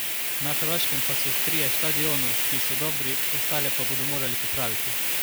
Na Hrvaškem pa so trije štadionu, ki so dobri, ostale pa bodo morali popraviti.